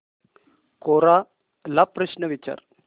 कोरा ला प्रश्न विचार